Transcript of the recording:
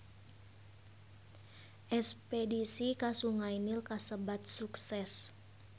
Espedisi ka Sungai Nil kasebat sukses